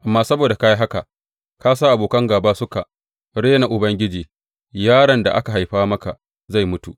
Amma saboda ka yi haka ka sa abokan gāba suka rena Ubangiji, yaron da aka haifa maka zai mutu.